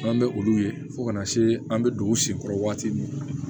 An bɛ olu ye fo kana se an bɛ don u si kɔrɔ waati min na